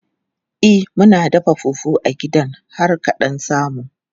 E, muna da fufu a gidan har ka ɗan samu.